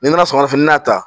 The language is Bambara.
Ni n nana sɔgɔmada fɛ n y'a ta